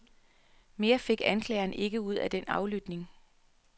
Mere fik anklageren ikke ud af den aflytning.